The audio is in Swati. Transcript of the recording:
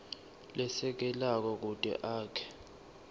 lesekelako kute akhe